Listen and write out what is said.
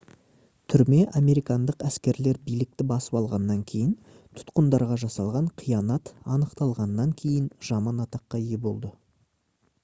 түрме американдық әскерлер билікті басып алғаннан кейін тұтқындарға жасалған қиянат анықталғаннан кейін жаман атаққа ие болды